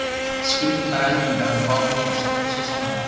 Skrýtnar eldingar og bálkesti, svo sannarlega.